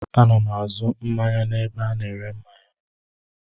Ana m azụ mmanya n'ebe a na-ere mmanya.